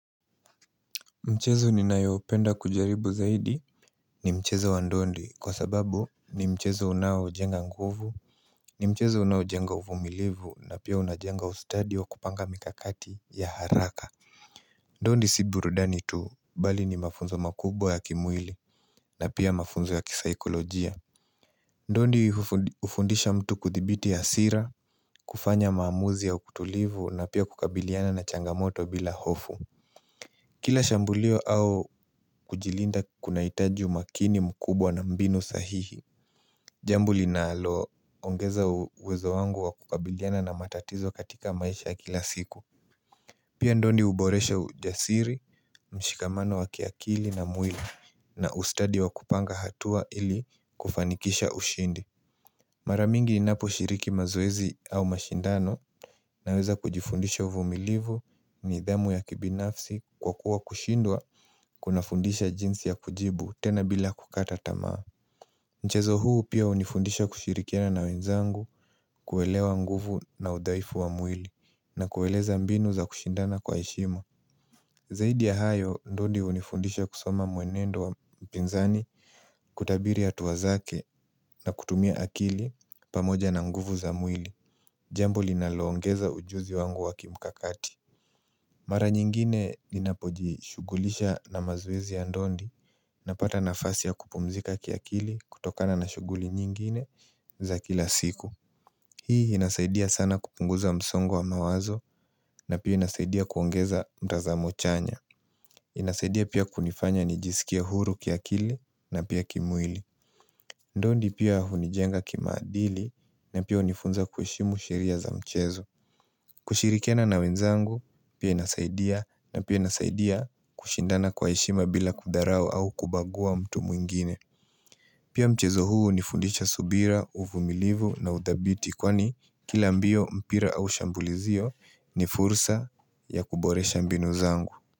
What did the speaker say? Mchezo ninayopenda kujaribu zaidi ni mchezo wa ndondi kwa sababu ni mchezo unaojenga nguvu, ni mchezo unaojenga uvumilivu na pia unajenga ustadi wa kupanga mikakati ya haraka. Ndondi si burudani tu bali ni mafunzo makubwa ya kimwili na pia mafunzo ya kisaikolojia Ndondi hufu hufundisha mtu kuthibiti hasira kufanya maamuzi ya utulivu na pia kukabiliana na changamoto bila hofu Kila shambulio au kujilinda kunahitaji umakini mkubwa na mbinu sahihi Jambo linaloongeza uwezo wangu wa kukabiliana na matatizo katika maisha ya kila siku Pia ndondi huboresha ujasiri, mshikamano wa kiakili na mwili na ustadi wa kupanga hatua ili kufanikisha ushindi Mara mingi ninaposhiriki mazoezi au mashindano Naweza kujifundisha uvumilivu, nidhamu ya kibinafsi kwa kuwa kushindwa kunafundisha jinsi ya kujibu tena bila kukata tamaa. Mchezo huu pia hunifundisha kushirikiana na wenzangu kuelewa nguvu na udhaifu wa mwili na kueleza mbinu za kushindana kwa heshima. Zaidi ya hayo, ndondi hunifundisha kusoma mwenendo wa mpinzani kutabiri hatua zake na kutumia akili pamoja na nguvu za mwili. Jambo linaloongeza ujuzi wangu wa kimkakati. Mara nyingine linapojishughulisha na mazoezi ya ndondi Napata nafasi ya kupumzika kiakili kutokana na shughuli nyingine za kila siku Hii inasaidia sana kupunguza msongo wa mawazo na pia inasaidia kuongeza mtazamo chanya inasaidia pia kunifanya nijisikie huru kiakili na pia kimwili Ndondi pia hunijenga kimaadili na pia hunifunza kuheshimu sheria za mchezo kushirikiana na wenzangu, pia inasaidia na pia inasaidia kushindana kwa heshima bila kudharau au kubagua mtu mwingine Pia mchezo huu hunifundisha subira, uvumilivu na udhabiti kwani kila mbio mpira au shambulizio ni fursa ya kuboresha mbinu zangu.